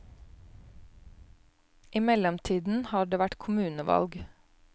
I mellomtiden har det vært kommunevalg.